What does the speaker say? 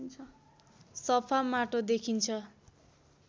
सफा माटो देखिन्छ